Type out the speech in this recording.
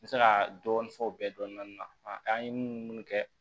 N bɛ se ka dɔɔni fɔ o bɛɛ dɔnni na an ye mun kɛ